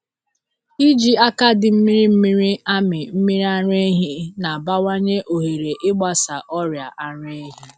Iji aka dị mmiri mmiri amị mmiri ara ehi na-abawanye ohere ịgbasa ọrịa ara ehi.